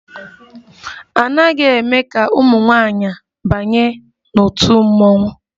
A naghị eme ka ụmụ nwanyị banye n'òtù mmọnwụ